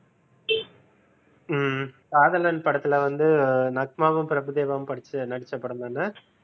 ஹம் காதலன் படத்தில வந்து நக்மாவும் பிரபுதேவாவும் படிச்ச நடிச்ச படம் தானே?